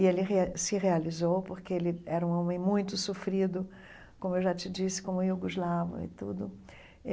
E ele re se realizou, porque ele era um homem muito sofrido, como eu já te disse, como Yugoslavo e tudo.